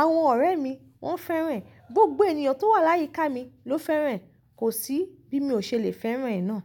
Àwọn ọ̀rẹ́ mi, wọ́n fẹ́ràn ẹ. Gbogbo ènìyàn tó wà láyíká mi ló fẹ́ràn ẹ. Kò sí bí mo ṣe lè fẹ́ràn ẹ náà.